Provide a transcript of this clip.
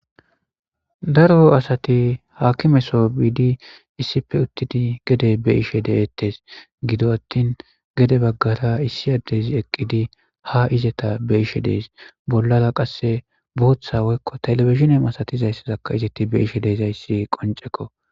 Daro asati haakimeso biidi issipe uttidi gede be'ishe deettes. Gido attin gede baggara issi addezi eqqidi ha izeta be'ishe dees. Bollara qasse booththa woykko telebizhine masatizaysakka izeti be'ishe dizayssi qoncekko.